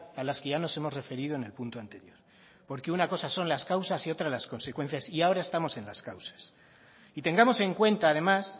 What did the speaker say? a las que ya nos hemos referido en el punto anterior porque una cosa son las causas y otras las consecuencias y ahora estamos en las causas y tengamos en cuenta además